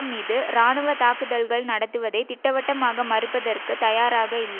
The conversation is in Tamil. மீது இராணுவ தாக்குதல்கள் நடத்துவதை திட்டவட்டமாக மறுப்பதற்கு தயாராக இல்